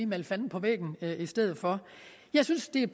male fanden på væggen i stedet for jeg synes det er